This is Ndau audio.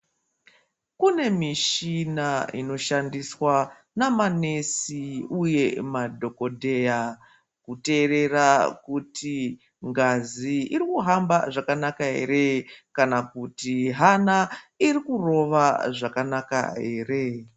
Kune michina inoshandiswa namanesi uye madhogodheya. Kuterera kuti ngazi irikuhamba zvakanaka ere kana kuti hana iri kurova zvakanaka ere.